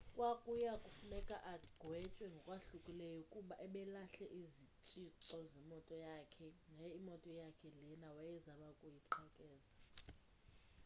kwakuyakufuneka agwetywe ngokwahlukileyo ukuba ebelahle izitshixo zemoto yakhe yaye iyimoto yakhe lena wayezama ukuyiqhekeza